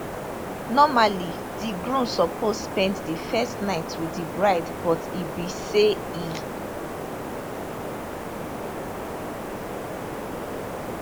normally di groom suppose spend di first night wit di bride but e bin say e